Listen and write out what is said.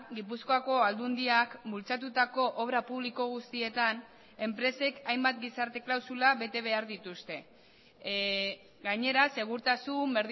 gipuzkoako aldundiak bultzatutako obra publiko guztietan enpresek hainbat gizarte klausula bete behar dituzte gainera segurtasun